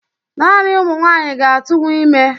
Naani ụmụ nwanyị ga-atụnwu ime